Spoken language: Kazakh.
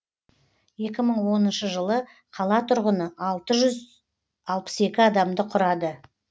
екі мың оныншы жылы қала тұрғыны алты жүз алпыс екі адамды құрады